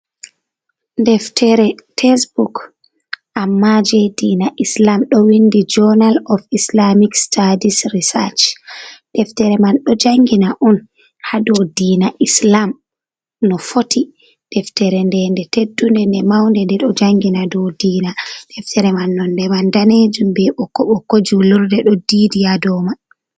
Deftere tesebok amma je diina islam do windi journal of islamic stadis research, deftere man ɗo jangina on ha dou diina islam no fotti, deftere nde nde teddunde nde maunde, nde ɗo jangina ɗou diina. Deftere man nonde man danejum be ɓokko ɓokko julurde ɗo didi ha dou man.